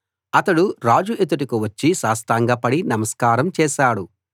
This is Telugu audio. అతడు రాజు ఎదుటకు వచ్చి సాష్టాంగపడి నమస్కారం చేశాడు